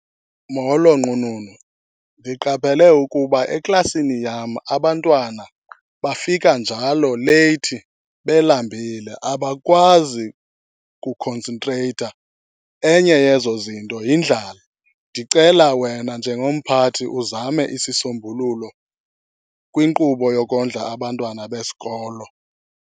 Molo nqununu, ndiqaphele ukuba eklasini yam abantwana bafika njalo leyithi belambile. Abakwazi kukhonsentreyitha, enye yezo zinto yindlala. Ndicela wena njengomphathi uzame isisombululo kwinkqubo yokondla abantwana besikolo.